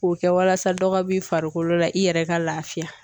K'o kɛ walasa dɔ ka b'i farikolo la i yɛrɛ ka laafiya.